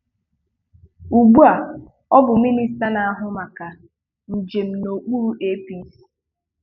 Ugbuà ọ bụ Minista na-ahụ maka njem n’okpuru APC.